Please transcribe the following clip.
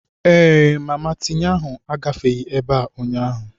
Ee, mama tinye ahụ agafeghị ebe a ụnyaahụ.